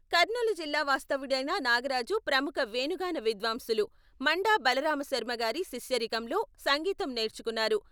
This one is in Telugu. కర్నూలు జిల్లా వాస్తవ్యుడైన నాగరాజు ప్రముఖ వేణుగాన విద్వాంసులు మండా బలరామశర్మగారి శిష్యరికంలో సంగీతం నేర్చుకున్నారు.